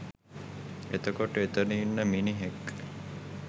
එතකොට එතන ඉන්න මිනිහෙක්